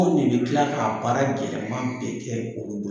Anw de bi kila k'a baara gɛlɛma bɛɛ kɛ u bolo.